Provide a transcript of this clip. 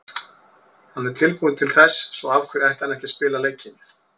Hann er tilbúinn til þess, svo af hverju ætti hann ekki að spila leikinn?